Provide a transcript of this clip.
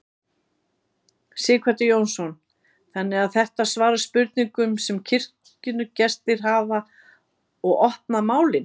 Sighvatur Jónsson: Þannig að þetta svara spurningum sem kirkjugestir hafa og opna málin?